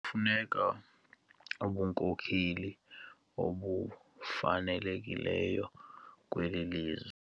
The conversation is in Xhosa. Kufuneka ubunkokeli obufanelekileyo kweli lizwe.